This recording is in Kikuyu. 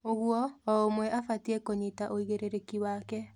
ũguo, o ũmwe abatie kũnyita ũigĩrĩrĩki wake.